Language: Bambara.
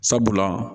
Sabula